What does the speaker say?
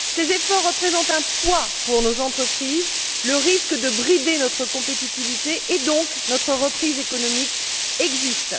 Ils représentent un poids pour nos entreprises. Le risque de brider notre compétitivité et donc notre reprise économique existe.